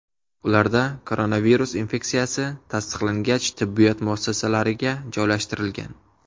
Ularda koronavirus infeksiyasi tasdiqlangach, tibbiyot muassasalariga joylashtirilgan.